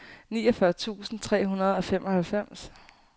niogfyrre tusind tre hundrede og femoghalvfems